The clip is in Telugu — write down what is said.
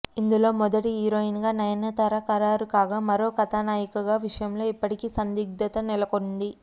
ఇందులో మొదటి హీరోయిన్ గా నయనతార ఖరారు కాగా మరో కథానాయిక విషయంలో ఇప్పటికీ సందిగ్దత నెలకొంది